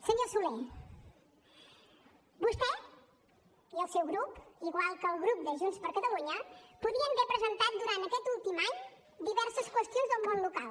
senyor solé vostè i el seu grup igual que el grup de junts per catalunya podrien haver presentat durant aquest últim any diverses qüestions sobre món local